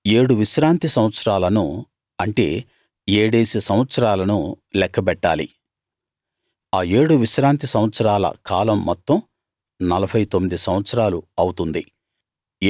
ఏడు విశ్రాంతి సంవత్సరాలను అంటే ఏడేసి సంవత్సరాలను లెక్క బెట్టాలి ఆ ఏడు విశ్రాంతి సంవత్సరాల కాలం మొత్తం 49 సంవత్సరాలు అవుతుంది